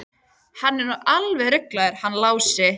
Hann er nú alveg ruglaður hann Lási.